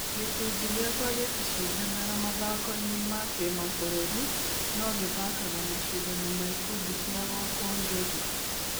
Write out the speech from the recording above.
Gĩkũndi gĩakwa gĩticindanaga mathakoinĩ ma kĩmabũrũri no gĩthakaga macindano ma ikundi cia gũkũ Ngegũ.